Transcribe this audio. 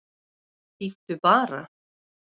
Bíddu bara!